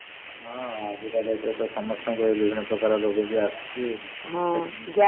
ଅ ଆଜିକା date ରେ ତ ସମସ୍ତଙ୍କର ବିଭିନ୍ନ ପ୍ରକାର ରୋଗ ବି ଆସୁଛି।